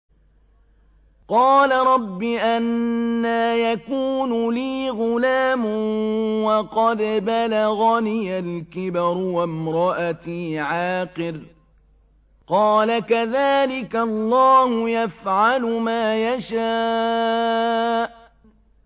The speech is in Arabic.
قَالَ رَبِّ أَنَّىٰ يَكُونُ لِي غُلَامٌ وَقَدْ بَلَغَنِيَ الْكِبَرُ وَامْرَأَتِي عَاقِرٌ ۖ قَالَ كَذَٰلِكَ اللَّهُ يَفْعَلُ مَا يَشَاءُ